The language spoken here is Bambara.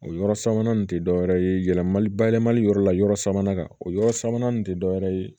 O yɔrɔ sabanan nin tɛ dɔwɛrɛ ye yɛlɛmali bayɛlɛmali yɔrɔ la yɔrɔ sabanan kan o yɔrɔ sabanan nin tɛ dɔwɛrɛ ye